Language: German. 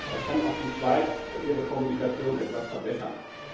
Da kann auch die Schweiz ihre Kommunikation etwas verbessern.